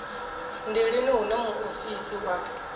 ndi lini hune muofisi wa